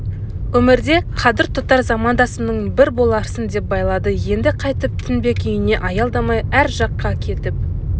өмірде қадір тұтар замандасымның бір боларсың деп байлады енді қайтып тінбек үйіне аялдамай ар жаққа кетіп